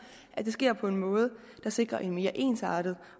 at det sker på en måde der sikrer en mere ensartet